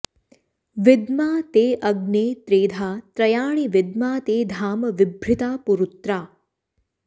विद्मा ते अग्ने त्रेधा त्रयाणि विद्मा ते धाम विभृता पुरुत्रा